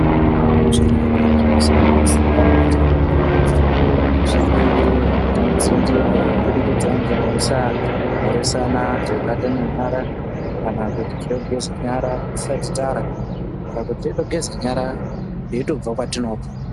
Zvirwere zvinosanganisira besha mupengo zvirwere zvinodzivirirwa kubudikidza nemukusamhoresana nekubatana nyara. Kana kuti nekugeze nyara tisati tarya kana kuti teitogeze nyara teitobva kwatinobva.